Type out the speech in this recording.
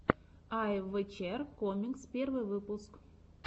айвэчер комикс первый выпуск